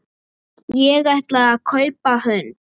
Ég ætlaði að kaupa hund.